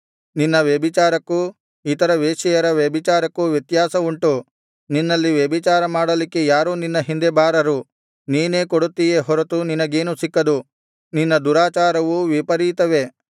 ನಿನ್ನ ವ್ಯಭಿಚಾರಕ್ಕೂ ಇತರ ವೇಶ್ಯೆಯರ ವ್ಯಭಿಚಾರಕ್ಕೂ ವ್ಯತ್ಯಾಸವುಂಟು ನಿನ್ನಲ್ಲಿ ವ್ಯಭಿಚಾರ ಮಾಡಲಿಕ್ಕೆ ಯಾರೂ ನಿನ್ನ ಹಿಂದೆ ಬಾರರು ನೀನೇ ಕೊಡುತ್ತೀಯೇ ಹೊರತು ನಿನಗೇನೂ ಸಿಕ್ಕದು ನಿನ್ನ ದುರಾಚಾರವು ವಿಪರೀತವೇ